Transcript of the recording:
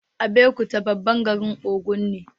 Abeokuta babban garin Ogun ne